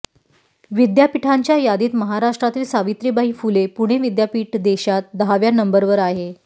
विद्यापीठांच्या यादीत महाराष्ट्रातील सावित्रीबाई फुले पुणे विद्यापीठ देशात दहाव्या नंबरवर आहे